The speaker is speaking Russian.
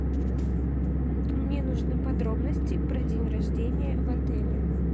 мне нужны подробности про день рождения в отеле